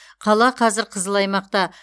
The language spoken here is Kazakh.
қала қазір қызыл аймақта